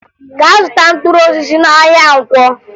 Gaa zụta mkpụrụosisi n'ahịa Nkwọ!